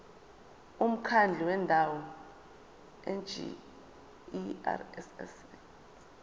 umkhandlu wendawo ngerss